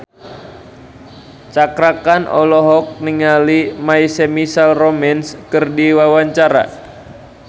Cakra Khan olohok ningali My Chemical Romance keur diwawancara